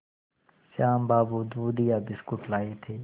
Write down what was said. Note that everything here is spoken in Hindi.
श्याम बाबू दूधिया बिस्कुट लाए थे